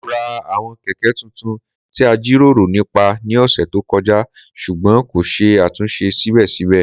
Mo ra àwọn Kẹ̀kẹ́ tuntun ti a jiroro nipa ní ọsẹ to kọja ṣugbọn ko ṣe atunṣe sibẹsibẹ.